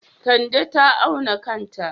Kande ta auna kanta.